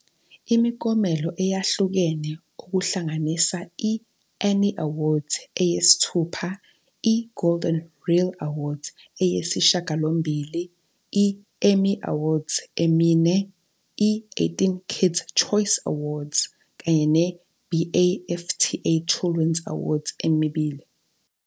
imiklomelo eyahlukene okuhlanganisa i-Annie Awards eyisithupha, i-Golden Reel Awards eyisishiyagalombili, i-Emmy Awards emine, i-18 Kids' Choice Awards, kanye ne-BAFTA Children's Awards emibili.